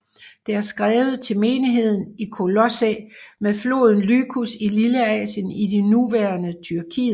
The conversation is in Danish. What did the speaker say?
Det er skrevet til menigheden i Kolossæ ved floden Lykus i Lilleasien i det nuværende Tyrkiet